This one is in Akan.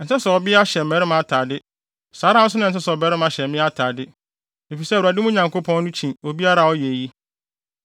Ɛnsɛ sɛ ɔbea hyɛ mmarima atade, saa ara nso na ɛnsɛ sɛ ɔbarima hyɛ mmea atade, efisɛ Awurade, mo Nyankopɔn no, kyi obiara a ɔyɛ eyi.